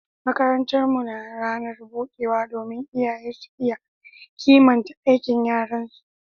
makarantar mu na ranar budewa domin iyaye su iya kimanta aikin yaran su